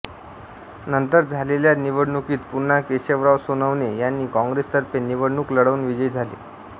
नंतर झालेल्या निवडणुकीत पुन्हा केशवराव सोनवणे यांनी काँग्रेसतर्फे निवडणुक लढवुन विजयी झाले